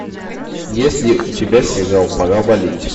есть ли у тебя сериал пора валить